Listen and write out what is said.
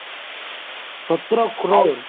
ସତର crore